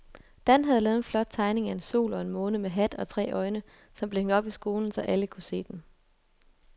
Dan havde lavet en flot tegning af en sol og en måne med hat og tre øjne, som blev hængt op i skolen, så alle kunne se den.